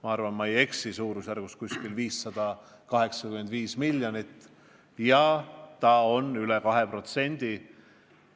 Ma arvan, et ma ei eksi, aga suurusjärk on 585 miljonit ja see teeb üle 2% SKT-st.